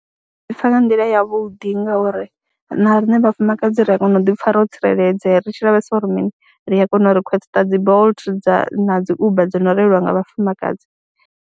Ndi pfha nga nḓila yavhuḓi ngauri na riṋe vhafumakadzi ri a kona u ḓi pfha ro tsireledzea ri tshi lavhelesa uri mini, ri a kona u requester dzi Bolt dza na dzi Uber dzo no reiliwa nga vhafumakadzi.